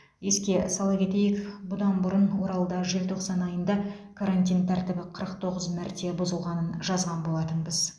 еске сала кетейік бұдан бұрын оралда желтоқсан айында карантин тәртібі қырық тоғыз мәрте бұзылғанын жазған болатынбыз